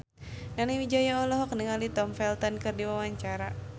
Nani Wijaya olohok ningali Tom Felton keur diwawancara